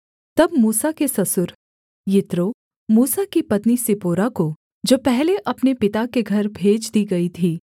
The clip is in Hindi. तब मूसा के ससुर यित्रो मूसा की पत्नी सिप्पोरा को जो पहले अपने पिता के घर भेज दी गई थी